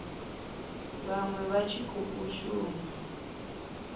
vhaṅwe vha tshi khou shuma